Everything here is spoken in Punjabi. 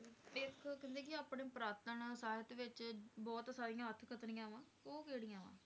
ਇੱਕ ਕਹਿੰਦੇ ਕਿ ਆਪਣੇ ਪੁਰਾਤਨ ਸਾਹਿਤ ਵਿਚ ਬਹੁਤ ਸਾਰੀਆਂ ਅਤਕਥਨੀਆਂ ਵਾ ਉਹ ਕਿਹੜੀਆਂ ਵਾ?